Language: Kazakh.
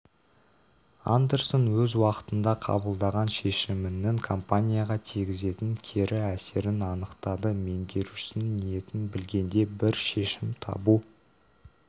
андерсон өз уақытында қабылдаған шешімінің компанияға тигізетін кері әсерін анықтады меңгерушісінің ниетін білгенде бір шешім табу